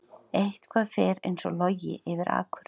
Eitthvað fer eins og logi yfir akur